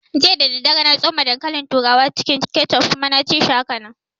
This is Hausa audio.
Jiya dadadare na tsoma dankalin turawa cikin kechup kuma na ci shi hakanan